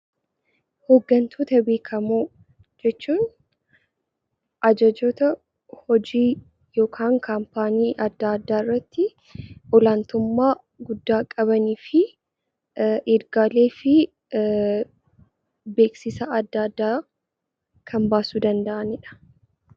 Hooggantoota beekamoo jechuun ajajoota hojii yookiin dhaabbata adda addaarratti olaantummaa guddaa qabanii fi ergaalee fi beeksisa adda addaa kan baasuu danda'anidha.